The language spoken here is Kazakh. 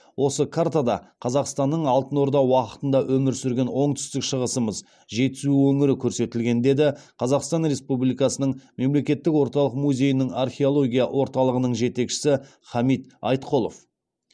осы картада қазақстанның алтын орда уақытында өмір сүрген оңтүстік шығысымыз жетісу өңірі көрсетілген деді қазақстан республикасының мемлекеттік орталық музейінің археология орталығының жетекшісі хамит айтқұлов